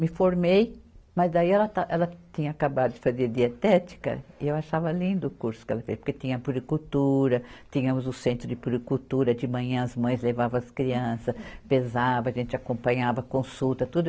Me formei, mas daí ela ta, ela tinha acabado de fazer dietética, e eu achava lindo o curso que ela fez, porque tinha a puricultura, tínhamos o centro de puricultura, de manhã as mães levavam as crianças, pesava, a gente acompanhava, consulta, tudo.